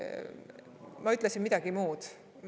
Ma ütlesin midagi muud.